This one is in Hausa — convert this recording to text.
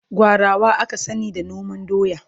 gwarawa aka sani da noman doya